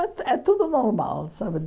É tu é tudo normal, sabe?